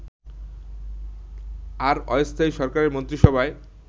আর অস্থায়ী সরকারের মন্ত্রীসভায়